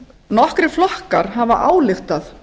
nokkrir flokkar hafa ályktað